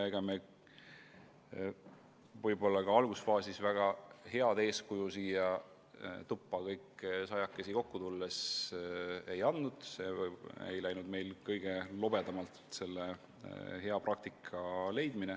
Ega me algusfaasis väga head eeskuju andnud, kui siia tuppa sajakesi kokku tulime, hea praktika leidmine ei läinud meil kõige lobedamalt.